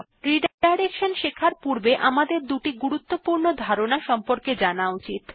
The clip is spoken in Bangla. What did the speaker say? রিডাইরেকশন শেখার পূর্বে আমাদের দুটি গুরুত্বপূর্ণ ধারণা সম্পর্কে জানা উচিত